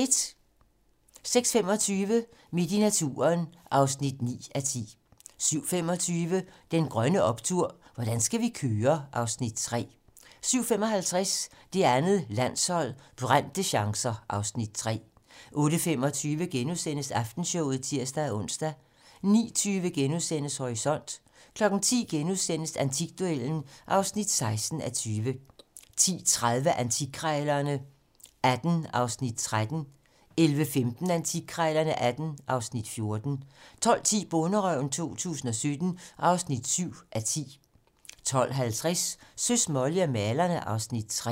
06:25: Midt i naturen (9:10) 07:25: Den grønne optur: Hvordan skal vi køre? (Afs. 3) 07:55: Det andet landshold: Brændte chancer (Afs. 3) 08:25: Aftenshowet *(ons-tor) 09:20: Horisont * 10:00: Antikduellen (16:20)* 10:30: Antikkrejlerne XVIII (Afs. 13) 11:15: Antikkrejlerne XVIII (Afs. 14) 12:10: Bonderøven 2017 (7:10) 12:50: Søs, Molly og malerne (Afs. 3)